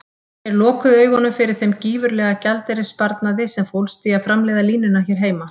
Þeir lokuðu augunum fyrir þeim gífurlega gjaldeyrissparnaði sem fólst í að framleiða línuna hér heima.